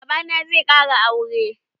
Baba na zai ƙara aure.